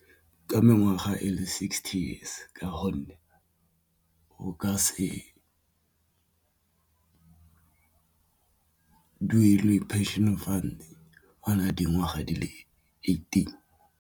Ka mengwaga e le sixty years ka gonne o ka se duelwe phenšene funds o na le dingwaga di le eighteen.